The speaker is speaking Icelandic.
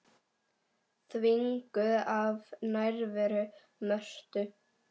Þvinguð af nærveru Mörtu.